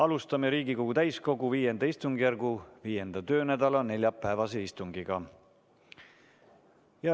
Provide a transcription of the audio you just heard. Alustame Riigikogu täiskogu V istungjärgu 5. töönädala neljapäevast istungit.